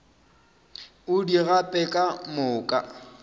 o di gape ka moka